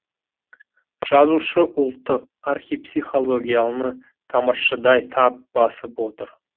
жазушы ұлттық архипсихологияны тамыршыдай тап басып отыр